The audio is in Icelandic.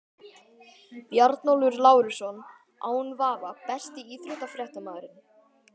Bjarnólfur Lárusson án vafa Besti íþróttafréttamaðurinn?